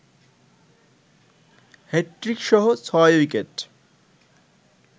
হ্যাটট্রিকসহ ৬ wicket